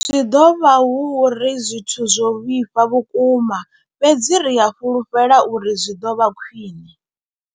Zwi ḓo vha hu uri zwithu zwo vhifha vhukuma, fhedzi ri a fhulufhela uri zwi ḓo vha khwiṋe.